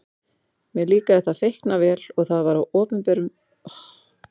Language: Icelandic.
Mér líkaði það feikna vel og Það var opinberun á hverjum degi.